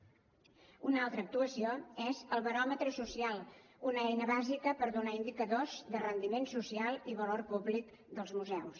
una altra actuació és el baròmetre social una eina bàsica per donar indicadors de rendiment social i valor públic dels museus